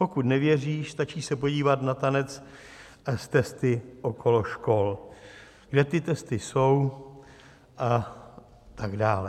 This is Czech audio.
Pokud nevěříš, stačí se podívat na tanec s testy okolo škol, kde ty testy jsou, a tak dále."